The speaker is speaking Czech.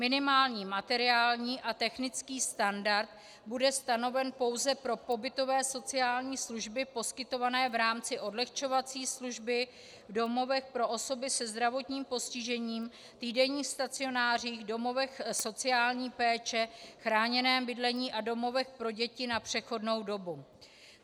Minimální materiální a technický standard bude stanoven pouze pro pobytové sociální služby poskytované v rámci odlehčovací služby v domovech pro osoby se zdravotním postižením, týdenních stacionářích, domovech sociální péče, chráněném bydlení a domovech pro děti na přechodnou dobu.